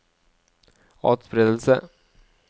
atspredelse